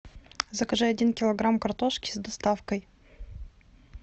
закажи один килограмм картошки с доставкой